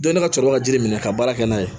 Don ne ka cɛkɔrɔba ka jiri minɛ ka baara kɛ n'a ye